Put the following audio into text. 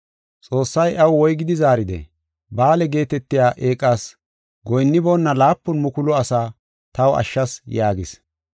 Xoossay iyaw woygidi zaaridee? “Ba7aale geetetiya eeqas goyinniboona laapun mukulu asaa taw ashshas” yaagis.